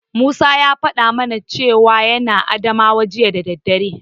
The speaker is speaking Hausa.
Musa ya faɗa mana cewa yana Adamawa jiya da daddare.